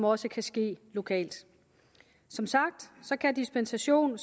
også kan ske lokalt som sagt kan dispensation